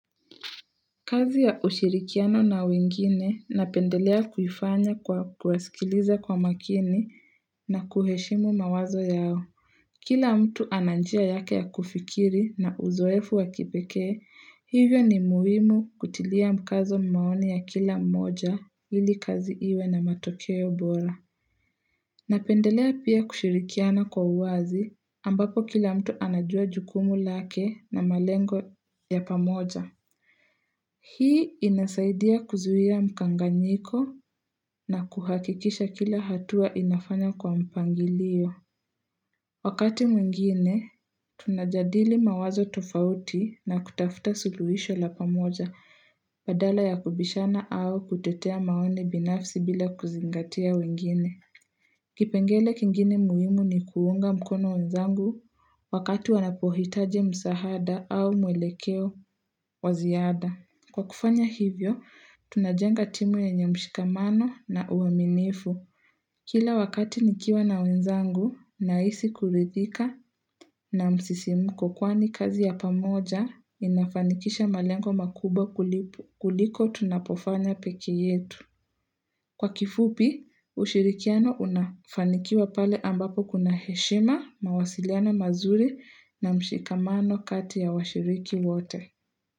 Kazi ya ushirikiano na wengine napendelea kuifanya kwa kuwasikiliza kwa makini na kuheshimu mawazo yao. Kila mtu ana njia yake ya kufikiri na uzoefu wakipekee, hivyo ni muhimu kutilia mkazo maoni ya kila mmoja ili kazi iwe na matokeo bora. Napendelea pia kushirikiana kwa uwazi ambapo kila mtu anajua jukumu lake na malengo ya pamoja. Hii inasaidia kuzuia mkanganyiko na kuhakikisha kila hatua inafanya kwa mpangilio. Wakati mwingine, tunajadili mawazo tofauti na kutafuta suluhisho la pamoja badala ya kubishana au kutetea maoni binafsi bila kuzingatia wengine. Kipengele kingine muhimu ni kuunga mkono wenzangu wakati wanapohitaji msahada au muelekeo wa ziada. Kwa kufanya hivyo, tunajenga timu yenye mshikamano na uaminifu. Kila wakati nikiwa na wenzangu, nahisi kuridhika na msisimuko kwani kazi ya pamoja, inafanikisha malengo makubwa kuliko tunapofanya pekee yetu. Kwa kifupi, ushirikiano unafanikiwa pale ambapo kuna heshima, mawasiliano mazuri na mshikamano kati ya washiriki wote.